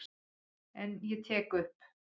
En ég tek upp.